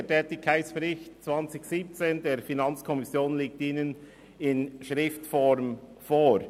Der Tätigkeitsbericht 2017 der FiKo liegt Ihnen in schriftlicher Form vor.